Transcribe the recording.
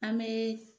An bɛ